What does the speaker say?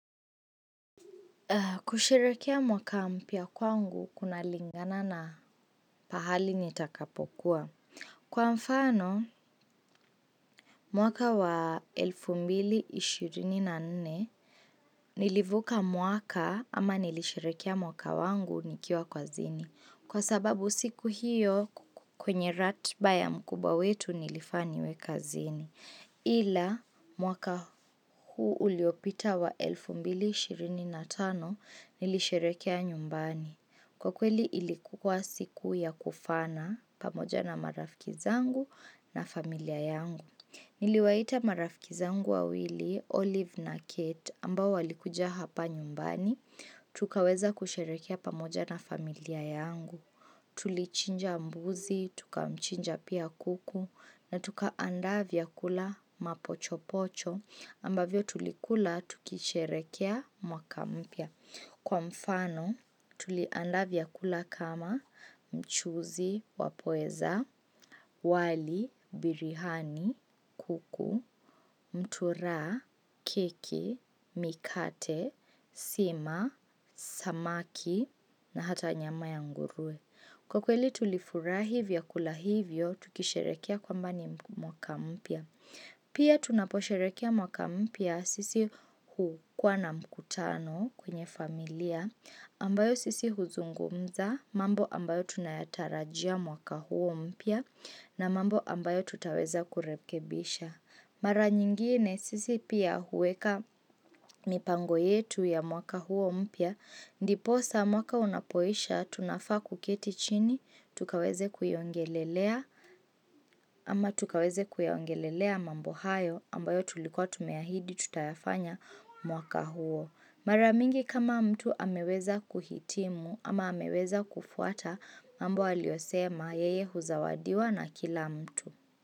Kusherehekea mwaka mpya kwangu, kunalingana na pahali nitakapokuwa. Kwa mfano mwaka wa 2024, nilivuka mwaka, ama nilishirehekea mwaka wangu nikiwa kazini. Kwa sababu siku hiyo, kwenye ratiba ya mkubwa wetu, nilifaa niwe kazini. Ila, mwaka huu uliopita wa 2025, nilisherehekea nyumbani. Kwa kweli ilikuwa siku ya kufana, pamoja na marafiki zangu, na familia yangu. Niliwaita marafiki zangu wawili, Olive na Kate, ambao walikuja hapa nyumbani, tukaweza kusherehekea pamoja na familia yangu. Tulichinja mbuzi, tukamchinja pia kuku, na tukaandaa vyakula mapochopocho ambavyo tulikula tukisherehekea mwaka mpya. Kwa mfano, tuliandaa vyakula kama mchuzi wa pweza, wali, biriani, kuku, mutura, keki, mikate, sima, samaki, na hata nyama ya nguruwe. Kwa kweli, tulifurahi vyakula hivyo, tukisherehekea kwamba ni mwaka mpya. Pia tunaposherehekea mwaka mpya, sisi hukuwa na mkutano kwenye familia, ambayo sisi huzungumza, mambo ambayo tunayatarajia mwaka huo mpya, na mambo ambayo tutaweza kurekebisha. Mara nyingine sisi pia huweka mipango yetu ya mwaka huo mpya. Ndiposa mwaka unapoisha, tunafaa kuketi chini tukaweze kuyaongelelea, ama tukaweze kuyaongelelea mambo hayo, ambayo tulikuwa tumeahidi tutayafanya mwaka huo. Mara mingi kama mtu ameweza kuhitimu, ama ameweza kufuata mambo aliyosema yeye huzawadiwa na kila mtu.